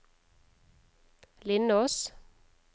Lindås